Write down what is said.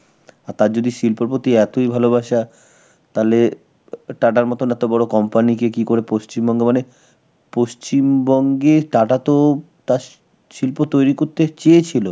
আর তার যদি শিল্পের প্রতি এতই ভালোবাসা, তালে TATA র মতন এত বড় company কে কি করে পশ্চিমবঙ্গ, মানে পশ্চিমবঙ্গে TATA তো তার শি~ শিল্প তৈরি করতে চেয়েছিল.